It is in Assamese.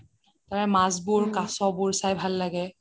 তাৰ মাছ বোৰ কাচ বোৰ চাই ভাল লাগে